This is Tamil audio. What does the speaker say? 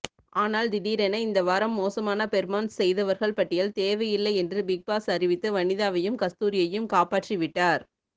ஆனால் திடீரென இந்த வாரம் மோசமான ஃபெர்மான்ஸ் செய்தவர்கள் பட்டியல் தேவையில்லை என்று பிக்பாஸ் அறிவித்து வனிதாவையும் கஸ்தூரியையும் காப்பாற்றிவிட்டார்